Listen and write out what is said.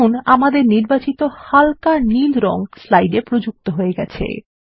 দেখুন আমাদের নির্বাচিত হালকা নীল রঙ স্লাইডে প্রযুক্ত হয়ে গেছে